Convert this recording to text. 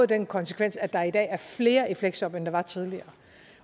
den konsekvens at der er i dag er flere i fleksjob end der var tidligere